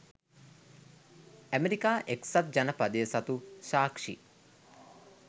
ඇමෙරිකා එක්සත් ජනපදය සතු සාක්‍ෂි